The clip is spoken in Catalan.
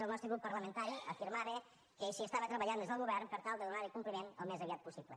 el nostre grup parlamentari afirmava que s’hi estava treballant des del govern per tal de donarhi compliment al més aviat possible